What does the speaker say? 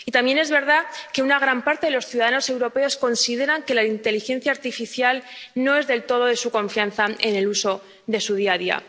y también es verdad que una gran parte de los ciudadanos europeos consideran que la inteligencia artificial no es del todo de su confianza en el uso de su día a día.